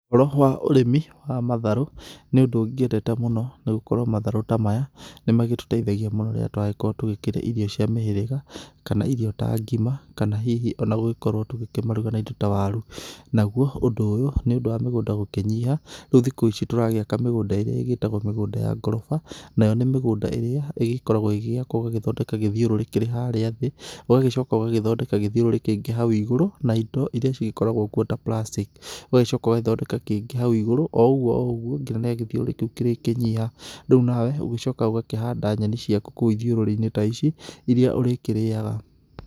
Ũhoro wa ũrĩmi wa matharũ nĩ ũndũ ngĩendete mũno nĩ gũkorwo matharũ ta maya nĩ magĩtũteithagia mũno rĩrĩa tũragĩkorwo tũkĩrĩa irio cia mĩhĩrĩga kana irio ta ngima kana hihi ona gũgĩkorwo tũkĩmaruga na indo ta waru. Naguo ũndũ ũyũ nĩ ũndũ wa mĩgũnda gũkĩnyiha, rĩu thikũ ici tũragĩaka mĩgũnda ĩrĩa ĩgĩtagwo mĩgũnda ya ngoroba. Nayo nĩ mĩgũnda ĩrĩa ĩgĩkoragwo igĩgĩakwo ũgathondeka gĩthiũrũrĩ kĩrĩ harĩa thĩ, ũgagĩcoka ũgagĩthondeka gĩthiũrũrĩ kĩngĩ hau igũrũ na indo iria cigĩkoragwo kuo ta plastic. Ũgagĩcoka ũgagĩthondeka kĩngĩ hau igũrũ o ũgu o ũguo nginya rĩrĩa gĩthiũrũrĩ kĩu kĩrĩ kĩnyiha. Rĩu nawe ũgĩcokaga ũgakĩhanda nyeni ciaku kũu ithiũrĩrĩ-inĩ ta ici iria ũrĩkĩrĩyaga.